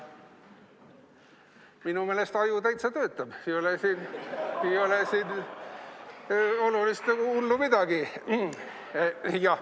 Minu meelest aju täitsa töötab, ei ole siin suurt hullu midagi.